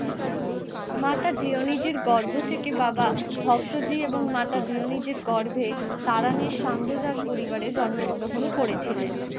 মাতা জিয়োনিজের গর্ভ থেকে বাবা ভক্তজী এবং মাতা জিওনিজের গর্ভে, তারানির সন্ধযাত পরিবারে জন্মগ্রহণ করেছিলেন।